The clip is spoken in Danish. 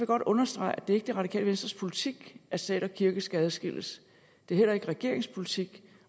godt understrege at det ikke er det radikale venstres politik at stat og kirke skal adskilles det er heller ikke regeringens politik